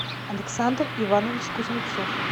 александр иванович кузнецов